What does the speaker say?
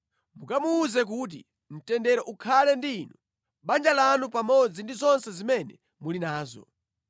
Mukamuwuze kuti, ‘Mtendere ukhale ndi inu, banja lanu pamodzi ndi zonse zimene muli nazo.